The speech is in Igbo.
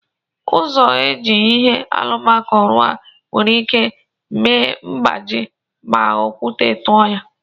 Ụzọ eji ihe alụmako rụọ nwere ike ime mgbaji ma okwute tụọ ya..